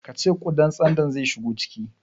Ka ce ƙudan tsandon zai shigo ciki?